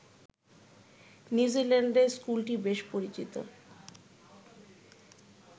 নিউজিল্যান্ডে স্কুলটি বেশ পরিচিত